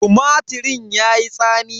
Tumatirin yayi tsami.